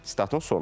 Sitatın sonu.